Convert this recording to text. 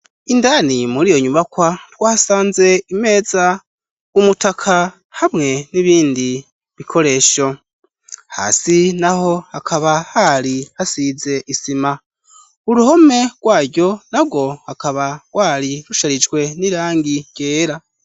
Indani mur' iyo nyubakwa, twasanze imeza ,umutaka hamwe n'ibindi bikoresho, hasi naho hakaba hari hasize isima ,uruhome rwaryo nagwo hakaba gwari rusharijwe n'irangi ryera.